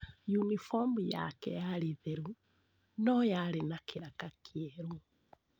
Unibomu yake yarĩ theru, no yarĩ na kĩraka kĩerũ.